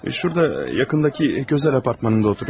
Şurada yaxındakı gözəl apartmanında oturur.